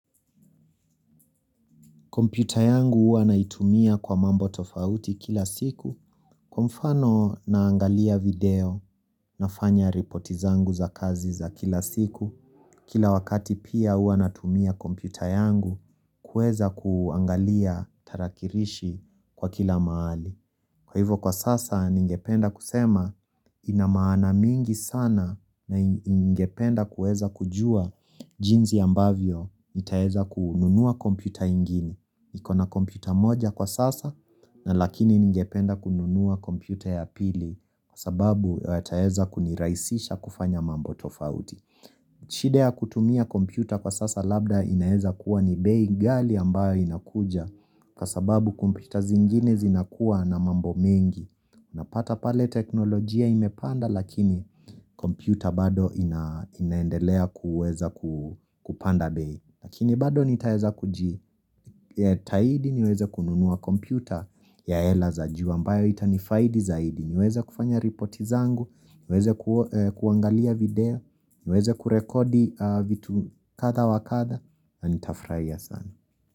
Kompiuta yangu uanaitumia kwa mambo tofauti kila siku, kwa mfano naangalia video nafanya ripoti zangu za kazi za kila siku, kila wakati pia uanatumia kompiuta yangu kueza kuangalia tarakirishi kwa kila mahali. Kwa hivyo kwa sasa ningependa kusema inamaana mingi sana na ningependa kueza kujua jinzi ambavyo itaeza kununua kompyuta ingini. Nikona kompyuta moja kwa sasa na lakini ningependa kununua kompyuta ya pili kwa sababu ya taeza kuniraisisha kufanya mambo tofauti. Chidea kutumia kompyuta kwa sasa labda inaeza kuwa ni bei gali ambayo inakuja Kwa sababu kompyuta zingine zinakuwa na mambo mengi Unapata pale teknolojia imepanda lakini kompyuta bado inaendelea kuweza kupanda bay Lakini bado nitayeza kuji Taidi niweze kununua kompyuta ya hela za juu ambayo itanifaidi zaidi niweze kufanya ripoti zangu, niweze kuangalia video niweze kurekodi vitu kada wa kada Ani tafraia sana.